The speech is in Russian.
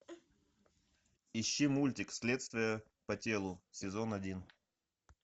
ищи мультик следствие по телу сезон один